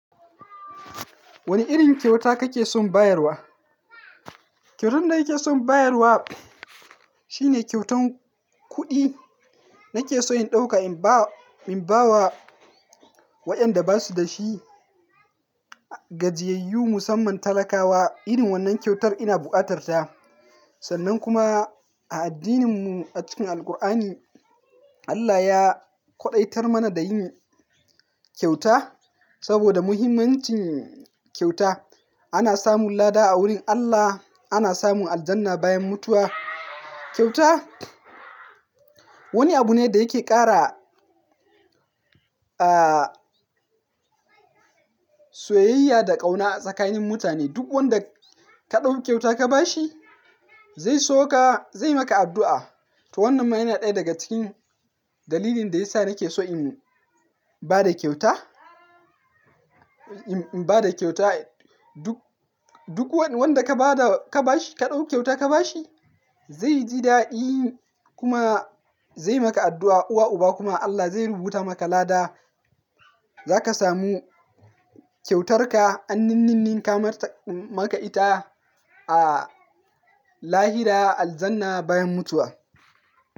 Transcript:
Wane irin kyauta kake son bayarwa? Kyautar da nake son bayarwa shine kyautan kuɗi. Nake so in ɗauka in ba wa, in ba wa waɗanda ba su da shi. Gajiyayyu musamman talakawa irin wannan kyautar ina bukatarta. Sannan kuma a addininmu a cikin Alqur'ani, Allah ya ƙwaɗaitar mana da yin kyauta saboda muhimmancin kyauta. Ana samun lada a wurin Allah, ana samun aljanna bayan mutuwa. Kyauta wani abu ne da yake ƙara, aah, soyayya da ƙauna tsakanin mutane. Duk wanda ka ɗau kyauta ka ba shi zai so ka, zai yi maka addu'a. To wannan ma yana ɗaya daga cikin dalilin da ya sa nake so in ba da kyauta. In ba da kyauta duk, duk wanda ka ba da, ka ba shi, ka ɗau kyauta ka ba shi zai ji daɗi kuma zai yi maka addu'a. Uwa uba kuma Allah zai rubuta maka lada. Za ka samu kyautarka annininnin ka maka ita a lahira, aljanna bayan mutuwa.